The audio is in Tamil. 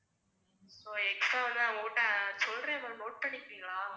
so extra வா தான் உங்ககிட்ட சொல்றேன் ma'am note பண்ணிக்கிறீங்களா?